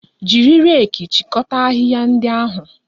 Jiri reeki chịkọta ahịhịa ndị ahụ!